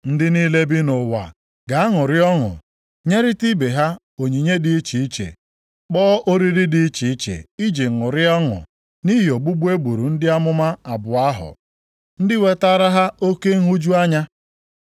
Ndị niile bi nʼụwa ga-aṅụrị ọṅụ, nyerịta ibe ha onyinye dị iche iche, kpọọ oriri dị iche iche iji ṅụrịa ọṅụ nʼihi ogbugbu e gburu ndị amụma abụọ ahụ, ndị wetaara ha oke nhụju anya.